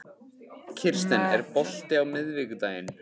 Kirsten, er bolti á miðvikudaginn?